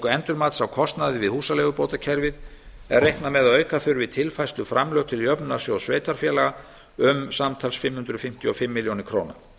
endurmats á kostnaði við húsaleigubótakerfið er reiknað með að auka þurfi tilfærsluframlög til jöfnunarsjóðs sveitarfélaga um samtals fimm hundruð fimmtíu og fimm milljónir króna